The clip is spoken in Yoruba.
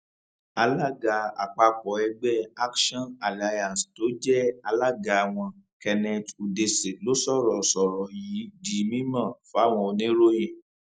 alága àpapọ ẹgbẹ action alliance tó jẹ alága wọn kenneth udese ló sọrọ sọrọ yìí di mímọ fáwọn oníròyìn